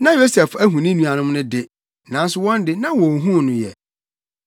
Na Yosef ahu ne nuanom no de, nanso wɔn de, na wonhuu no ɛ.